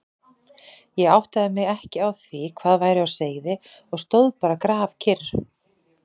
Ég áttaði mig ekki á því hvað væri á seyði og stóð bara grafkyrr.